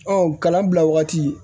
kalan bila wagati